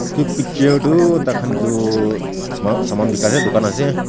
Tu picture tu tai khan etu saman bekai ase tugan ase.